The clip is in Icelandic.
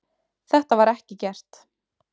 Þetta var ekki gert